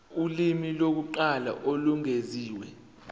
ulimi lokuqala olwengeziwe